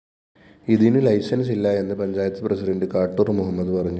ഇതിനു ലൈസന്‍സില്ല എന്ന് പഞ്ചായത്ത് പ്രസിഡണ്ട് കാട്ടൂര്‍ മുഹമ്മദ് പറഞ്ഞു